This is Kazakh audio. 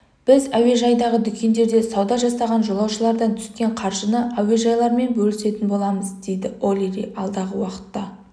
біз әуежайдағы дүкендерде сауда жасаған жолаушылардан түскен қаржыны әуежайлармен бөлісетін боламыз дейді олири алдағы уақытта